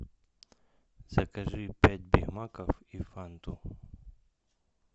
закажи пять бигмаков и фанту